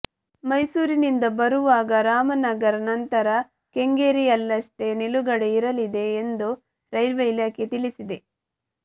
ಮೈಸೂರಿನಿಂದ ಬರುವಾಗ ರಾಮನಗರ ನಂತರ ಕೆಂಗೇರಿಯಲ್ಲಷ್ಟೇ ನಿಲುಗಡೆ ಇರಲಿದೆ ಎಂದು ರೈಲ್ವೆ ಇಲಾಖೆ ತಿಳಿಸಿದೆ